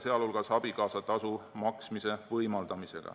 See hõlmas ka abikaasatasu maksmise võimaldamist.